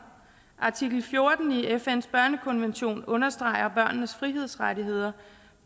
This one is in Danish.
artikel fjorten i fns børnekonvention understreger børnenes frihedsrettigheder